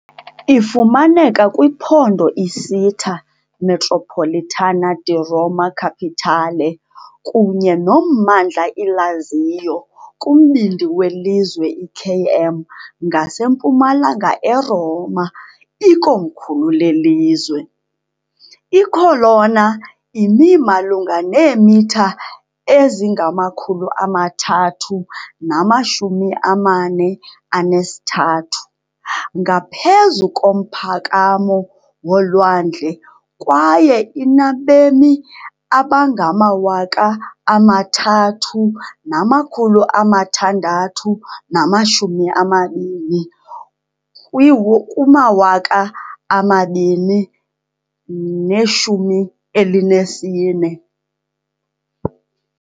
Ifumaneka kwiphondo i-Città metropolitana di Roma Capitale kunye nommandla i-Lazio, kumbindi welizwe, i-KM ngasempumalanga eRoma, ikomkhulu lelizwe. I-Colonna imi malunga neemitha ezingama-343 ngaphezu komphakamo wolwandle, kwaye inabemi abangama-3,620 kuma-2014.